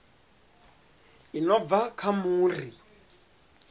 i no bva kha muri